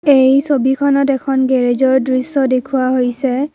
এই ছবিখনত এখন গেৰেজৰ দৃশ্য দেখুওৱা হৈছে।